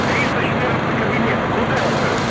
три сто четырнадцатый кабинет куда это